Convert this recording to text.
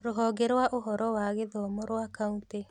Rũhonge rwa ũhoro wa gĩthomo rwa kaunti